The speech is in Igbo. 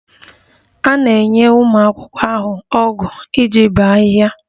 A na-enye ụmụ akwụkwọ ahụ ọgụ iji bee ahịhịa